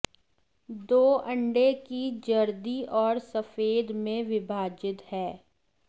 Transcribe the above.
दो अंडे की जर्दी और सफेद में विभाजित हैं